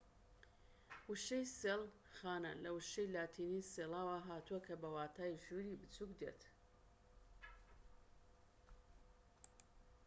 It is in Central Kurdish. وشەی سێڵ خانە لە وشەی لاتینی سێڵاوە هاتووە کە بەواتای ژووری بچوك دێت